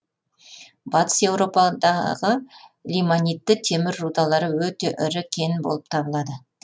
батыс еуропадағы лимонитті темір рудалары өте ірі кен болып табылады